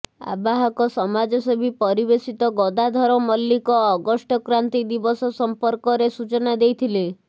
ଆବାହକ ସମାଜସେବୀ ପରିବେଶବିତ ଗଦାଧର ମଲ୍ଲିକଅଗଷ୍ଟକ୍ରାନ୍ତୀ ଦିବସ ସମ୍ପର୍କରେ ସୂଚନା ଦେଇଥିଲେ